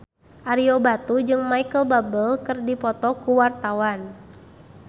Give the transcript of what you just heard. Ario Batu jeung Micheal Bubble keur dipoto ku wartawan